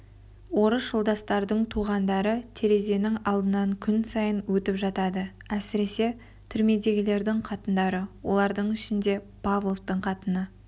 орыс жолдастардың туғандары терезенің алдынан күн сайын өтіп жатады әсіресе түрмедегілердің қатындары олардың ішінде павловтың қатыны